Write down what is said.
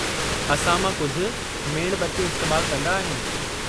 असां मां कुझु मेणबत्तियूं इस्तेमालु कंदा आहिनि।